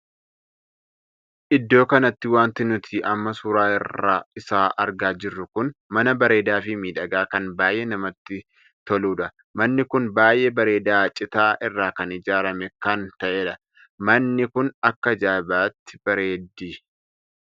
Iddoo kanatti wanti nuti amma suuraa isaa argaa jirru kun mana bareedaa fi miidhagaa kan baay'ee namatyibkan toludha. manni kun baay'ee bareedaa citaa irraa kan ijaaramee kan tahedha. manni kun akka ajaa'ibaatti bareeddi.